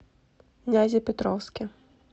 нязепетровске